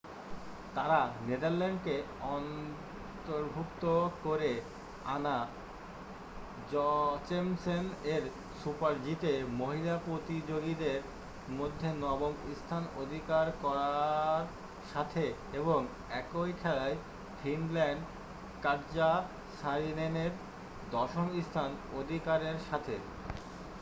তারা নেদারল্যান্ডকে অন্তর্ভুক্ত করে অ্যানা জচেমসেন এর super-g তে মহিলা প্রতিযোগীদের মধ্যে নবম স্থান অধিকার করার সাথে এবং একই খেলায় ফিনল্যান্ড কাটজা সারিনেনের দশম স্থান অধিকারের সাথে